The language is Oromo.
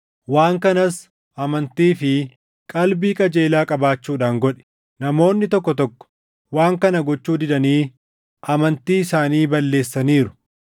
waan kanas amantii fi qalbii qajeelaa qabaachuudhaan godhi. Namoonni tokko tokko waan kana gochuu didanii amantii isaanii balleessaniiru.